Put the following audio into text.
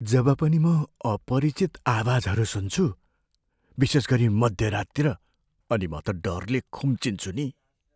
जब पनि म अपरिचित आवाजहरू सुन्छु, विशेषगरी मध्य राततिर, अनि म त डरले खुम्चिन्छु नि।